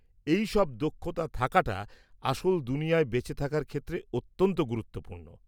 -এইসব দক্ষতা থাকাটা আসল দুনিয়ায় বেঁচে থাকার ক্ষেত্রে অত্যন্ত গুরুত্বপূর্ণ।